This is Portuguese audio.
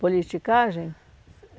Politicagem?